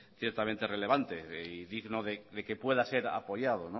ciertamente relevante y digno de que pueda ser apoyado